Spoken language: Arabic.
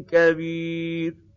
كَبِيرٍ